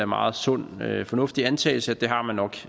meget sund og fornuftig antagelse at det har man nok